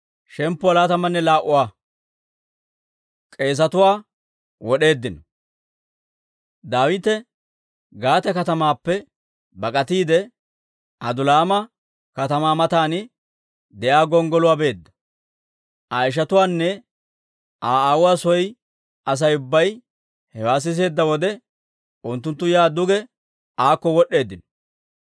Daawite Gaate katamaappe bak'atiide, Adulaama katamaa matan de'iyaa gonggoluwaa beedda; Aa ishatuwaanne Aa aawuwaa soo Asay ubbay hewaa siseedda wode, unttunttu yaa duge aakko wod'd'eeddino.